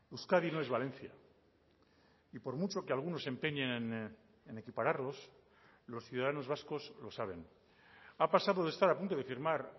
euskadi no es valencia y por mucho que algunos se empeñen en equipararlos los ciudadanos vascos lo saben ha pasado de estar a punto de firmar